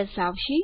દર્શાવશે